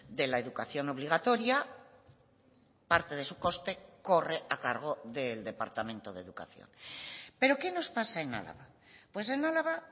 de la educación obligatoria parte de su coste corre a cargo del departamento de educación pero qué nos pasa en álava pues en álava